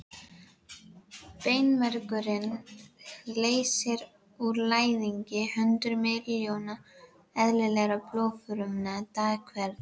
Beinmergurinn leysir úr læðingi hundruð miljóna eðlilegra blóðfruma dag hvern.